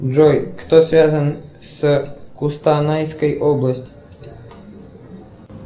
джой кто связан с кустанайской область